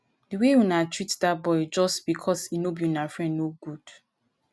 the way una treat dat boy just because e no be una friend no good